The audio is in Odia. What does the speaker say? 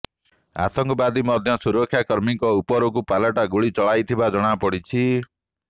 ଆତଙ୍କବାଦୀ ମଧ୍ୟ ସୁରକ୍ଷାକର୍ମୀଙ୍କ ଉପରକୁ ପାଲଟା ଗୁଳି ଚଳାଉଥିବା ଜଣାପଡ଼ିଛି